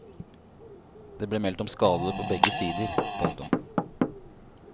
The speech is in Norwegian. Det ble meldt om skadede på begge sider. punktum